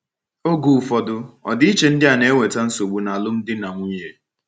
Oge ụfọdụ, ọdịiche ndị a na -eweta esemokwu n’alụmdi na nwunye.